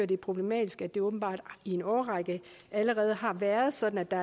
det er problematisk at det åbenbart i en årrække allerede har været sådan at der